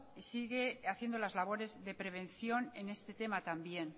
y sigue haciendo las labores de prevención en este tema también